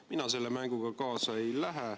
Mina selle mänguga kaasa ei lähe.